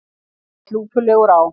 Hann leit lúpulegur á